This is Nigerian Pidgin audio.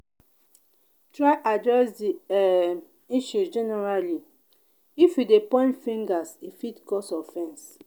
try address di um issue generally if you de point fingers e fit cause offense